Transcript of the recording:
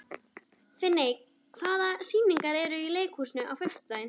Finney, hvaða sýningar eru í leikhúsinu á fimmtudaginn?